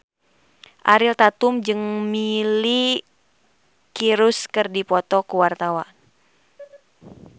Ariel Tatum jeung Miley Cyrus keur dipoto ku wartawan